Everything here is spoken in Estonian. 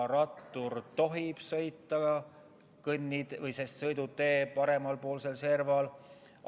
Rattur tohib sõita ka sõidutee parempoolsel serval.